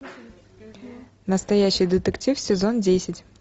настоящий детектив сезон десять